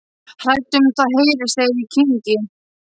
Hrædd um að það heyrist þegar ég kyngi.